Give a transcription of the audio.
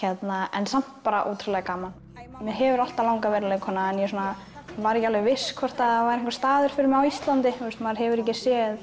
en samt bara ótrúlega gaman mig hefur alltaf langað að vera leikkona en ég var ekki alveg viss um hvort það væri einhver staður fyrir mig á Íslandi maður hefur ekki séð